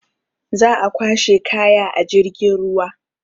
Za a kwashe kaya a jirgin ruwa.